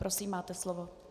Prosím, máte slovo.